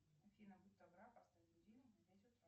афина будь добра поставь будильник на пять утра